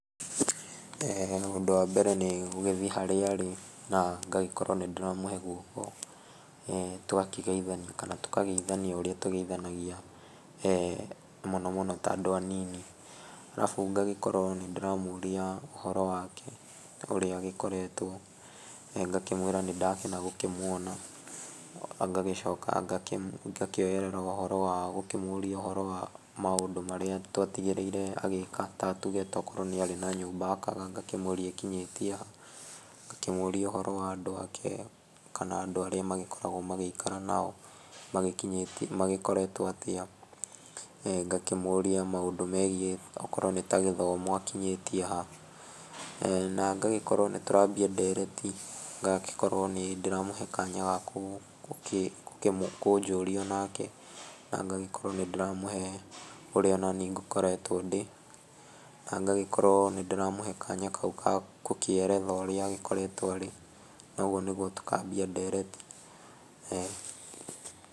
Ũndũ wa mbere nĩ gũgĩthiĩ harĩa arĩ na ngagĩkorwo nĩ ndĩramũhe gwoko tũgakĩgeithania kana tũkageithania oũrĩa tũkĩgeithanagia mũno mũno ta andũ anini. Arabu ngagĩkorwo nĩ ndĩramũria ũhoro wake ũrĩa agĩkoretwo ngakĩmwĩra nĩ ndakena gũkĩmũona, ngagĩcoka ngakĩoerera ũhoro wa gũkĩmũria ũhoro wa maũndũ marĩa twagtigĩrĩire agĩka. Tatuge tokorwo nĩ arĩ na nyũmba akaga ngakĩmũria ĩkĩnyĩtie ha, ngakĩmũria ũhoro wa andũ ake kana andũ arĩa makoragwo magĩikara nao magikinyĩtie magĩkoretwo atia. Ngakĩmũria maũndũ megiĩ okorwo nĩ ta gĩthomo akinyĩtie ha na ngagĩkorwo nĩ tũrambia ndereti ngagĩkorwo nĩ ndĩramũhe kanya ga kũnjũria onake. Na ngagĩkorwo nĩ ndĩramũhe orĩa onaniĩ ngĩkoretwo ndĩ, na ngagĩkorwo nĩ ndĩramũhe kanya hau ka kũkĩeretha ũrĩa agĩkoretwo arĩ na ũguo nĩguo tũkambia ndereti.